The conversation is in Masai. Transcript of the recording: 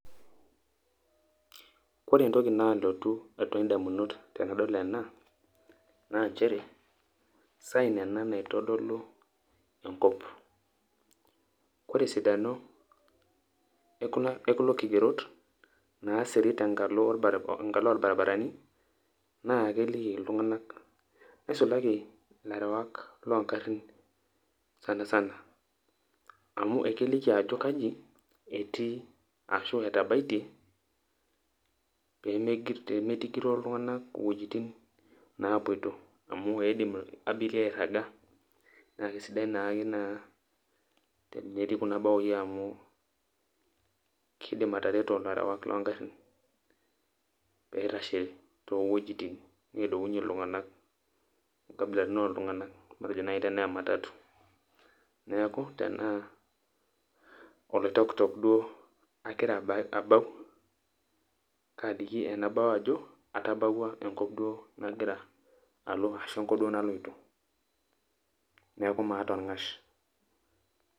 Ore entoki naalotu atua indamunot tenadol ena, naa njere, sign ena naitodolu enkop. Ore esidano ekulo kigerot, naasiri tenkalo orbarabarani, na keliki iltung'anak, nisulaki ilarewak logarrin sanasana. Amu ekeliki ajo kaji etii, ashu etabaitie, pemeitigiroo iltung'anak iwuejiting napuoito. Amu eidim abiria airraga, na kesidai naake naa, tenetii kuna baoi amu, kidim atareto ilarewak logarrin, peitashe towojiting' nedounye iltung'anak, inkabilaritin oltung'anak, matejo nai tenaa ematatu. Neeku tenaa Oloitokitok duo agira abau, kaliki enabao ajo, atabauwua enkop duo nagira alo, ashu enkop duo naloito. Neeku maata orng'ash.